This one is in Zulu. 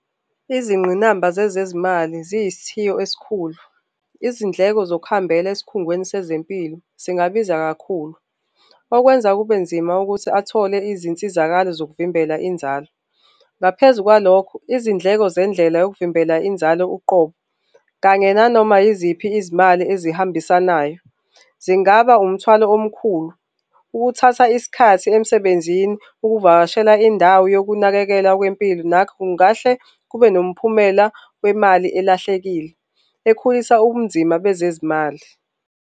Izingqinamba zezezimali ziyisithiyo esikhulu. Izindleko sokuhambela esikhungweni sezempilo singabiza kakhulu okwenza kube nzima ukuthi athole izinsizakalo zokuvimbela inzalo. Ngaphezu kwalokho, izindleko zindlela yokuvimbela inzalo uqobo kanye nanoma yiziphi izimali ezihambisanayo zingaba umthwalo omkhulu ukuthatha isikhathi emsebenzini ukuvakashela indawo yokunakekela kwempilo, nakhu ngahle kube nomphumela wemali elahlekile ekhulisa ubunzima bezezimali.